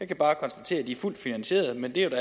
kan bare konstatere at de er fuldt finansierede men det er jo